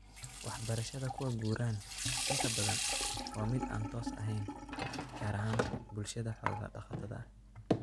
Waxbarashada kuwa guraan inta badan waa mid aan toos ahayn, gaar ahaan bulshada xoolo-dhaqatada ah.